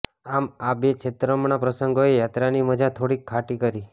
આમ આ બે છેતરામણા પ્રસંગોએ યાત્રાની મજા થોડીક ખાટી કરી